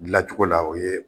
Dilacogo la o ye